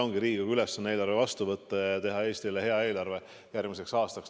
Riigikogu ülesanne ongi eelarve vastu võtta ja teha Eestile hea eelarve järgmiseks aastaks.